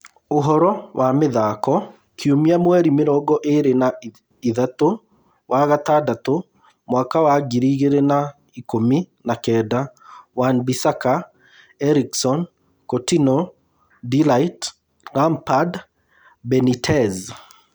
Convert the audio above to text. Ũhoro wa mĩthako kiumia mweri mĩrongo ĩĩrĩ na ithatũ wa-gatandatũ mwaka wa Ngiri igĩrĩ na ikũmi na kenda: Wan-Bissaka, Eriksen, Coutinho, De Ligt, Lampard, Benitez